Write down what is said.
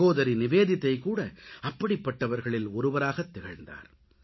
சகோதரி நிவேதிதா கூட அப்படிப்பட்டவர்களில் ஒருவராகத்திகழ்ந்தார்